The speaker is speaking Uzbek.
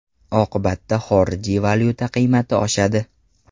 Oqibatda xorijiy valyuta qiymati oshadi.